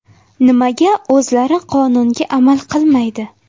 Nimaga o‘zlari qonunga amal qilmaydi?